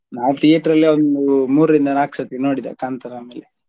ನಾನ್ theater ಅಲ್ಲಿ ಒಂದು ಮೂರ್ರಿಂದ ನಾಲ್ಕ್ ಸರ್ತಿ ನೋಡಿದೆ ಕಾಂತಾರ ಆಮೇಲೆ.